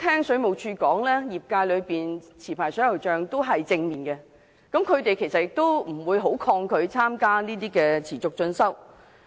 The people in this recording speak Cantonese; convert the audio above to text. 水務署表示，持牌水喉匠對該計劃反應正面，並不抗拒參與持續進修。